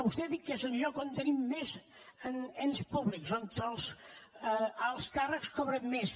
vostè ha dit que és un lloc on tenim més ens públics on els alts càrrecs cobren més